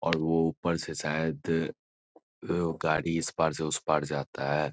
और वो ऊपर से शायद अ गाड़ी इस पार से उस पार जाता है।